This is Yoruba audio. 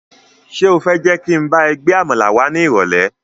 Ṣé o fẹ́ jẹ́ kí n bá ẹ gba àmàlà wá ni irole?